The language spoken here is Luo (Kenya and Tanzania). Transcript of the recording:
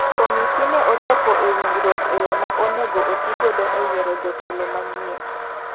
Komiti ne ochopo e winjruok e yo ma onego oti godo e yiero jotelo manyien.